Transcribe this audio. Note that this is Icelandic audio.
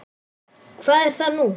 Hvað er það nú?